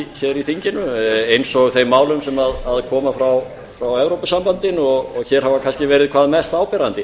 í þinginu eins og þeim málum sem koma frá evrópusambandinu og hér hafa verið kannski hvað mest áberandi